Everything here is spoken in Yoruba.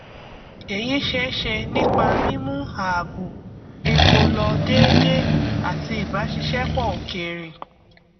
èyí ṣeéṣe nípa mímú ààbò epo lọ déédé àti ìbàṣiṣẹpọ òkèrè